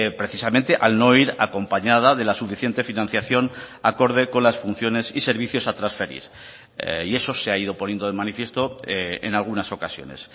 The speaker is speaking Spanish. precisamente al no ir acompañada de la suficiente financiación acorde con las funciones y servicios a transferir y eso se ha ido poniendo de manifiesto en algunas ocasiones